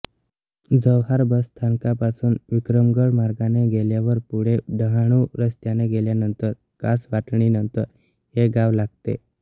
Jawhar bus स्थानकापासून विक्रमगड मार्गाने गेल्यावर पुढे डहाणू रस्त्याने गेल्यानंतर कासटवाडीनंतर हे गाव लागते